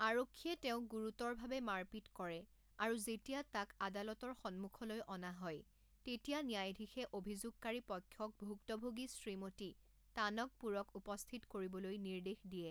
আৰক্ষীয়ে তেওঁক গুৰুতৰভাৱে মাৰপিট কৰে আৰু যেতিয়া তাক আদালতৰ সন্মুখলৈ অনা হয়, তেতিয়া ন্যায়াধীশে অভিযোগকাৰী পক্ষক ভুক্তভোগী শ্ৰীমতি টানকপুৰক উপস্থিত কৰিবলৈ নিৰ্দেশ দিয়ে।